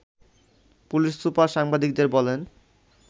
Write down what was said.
police super সাংবাদিকদের বলেন